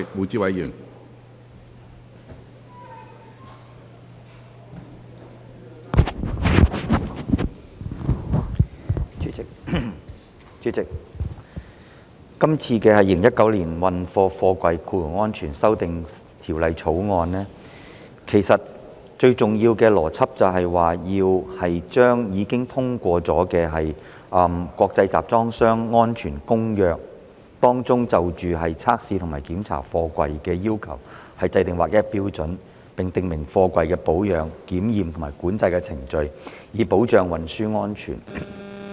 主席，其實這項《2019年運貨貨櫃條例草案》最重要的邏輯，是依據已通過的《國際集裝箱安全公約》，就測試及檢查貨櫃的要求，制訂劃一標準，並訂明貨櫃的保養、檢驗及管制程序，以保障運輸安全。